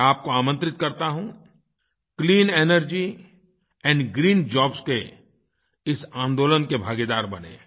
मैं आपको आमंत्रित करता हूँ clean energy and green jobs के इस आन्दोलन के भागीदार बनें